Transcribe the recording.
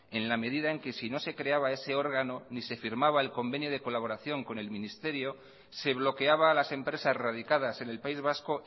en la medida en que si no se creaba ese órgano ni se firmaba el convenio de colaboración con el ministerio se bloqueaba a las empresas radicadas en el país vasco